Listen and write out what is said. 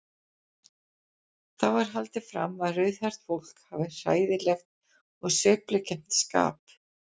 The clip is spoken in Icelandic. Þá er haldið fram að rauðhært fólk hafi hræðilegt og sveiflukennt skap.